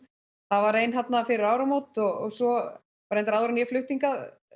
það var ein þarna fyrir áramót og svo reyndar áður en ég flutti hingað